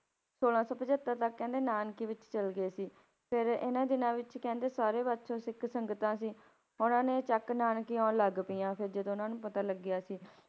ਛੋਲਾਂ ਸੌ ਪਜੱਤਰ ਤੱਕ ਕਹਿੰਦੇ ਨਾਨਕੀ ਵਿੱਚ ਚਲੇ ਗਏ ਸੀ, ਫਿਰ ਇਹਨਾਂ ਦਿਨਾਂ ਵਿੱਚ ਕਹਿੰਦੇ ਸਾਰੇ ਪਾਸੋਂ ਸਿੱਖ ਸੰਗਤਾਂ ਸੀ, ਉਹਨਾਂ ਨੇ ਚੱਕ ਨਾਨਕੀ ਆਉਣ ਲੱਗ ਪਈਆਂ, ਫਿਰ ਜਦੋਂ ਉਹਨਾਂ ਨੂੰ ਪਤਾ ਲੱਗਿਆ ਸੀ,